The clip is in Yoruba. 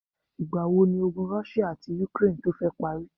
Ìgbà wo ni ogun Russia àti Ukraine tó fẹ parí?